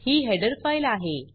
ही header file आहे